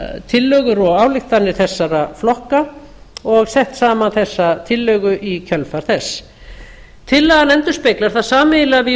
tillögur og ályktanir þessara flokka og sett saman þessa tillögu í kjölfar þess tillaga endurspeglar það sameiginlega